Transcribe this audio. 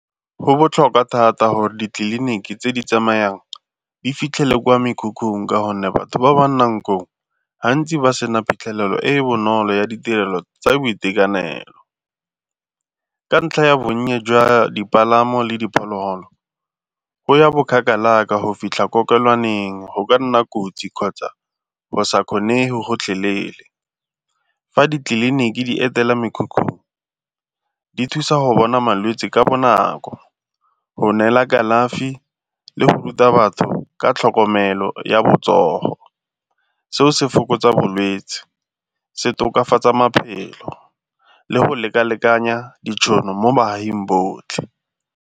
Go botlhokwa thata gore ditleliniki tse di tsamayang di fitlhele kwa mekhukhung ka gonne batho ba ba nnang koo gantsi ba sena phitlhelelo e e bonolo ya ditirelo tsa boitekanelo. Ka ntlha ya bonnye jwa dipalamo le diphologolo, go ya bo kgakala ka go fitlha kokelwaneng go ka nna kotsi kgotsa bo sa kgone gotlhelele. Fa ditleliniki di etela mekhukhu di thusa go bona malwetsi ka bonako go neela kalafi le go ruta batho ka tlhokomelo ya botsogo. Seo se fokotsa bolwetsi se tokafatsaa maphelo le go lekalekanya ditšhono mo baaging botlhe.